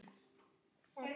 Hættu þessu